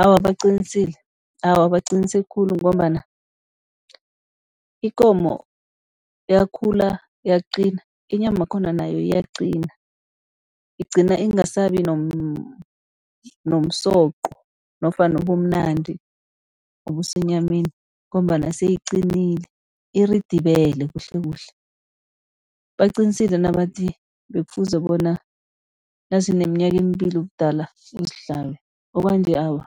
Awa, baqinisile awa baqinise khulu, ngombana ikomo yakhula yaqina inyama yakhona nayo iyaqina. Igcina ingasabi nomsoqo nofana ubumnandi obusenyameni, ngombana seyiqinile, iridibele kuhle kuhle. Baqinisile nabathi bekufuze bona nazineminyaka emibili ubudala uzihlabe, okwanje awa